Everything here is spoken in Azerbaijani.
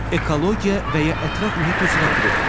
Ekologiya və ya ətraf mühit üzrə qrup.